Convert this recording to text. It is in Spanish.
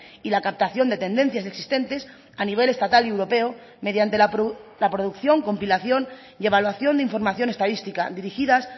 y la captación de tendencias existentes a nivel estatal y europeo mediante la producción compilación y evaluación de información estadística dirigidas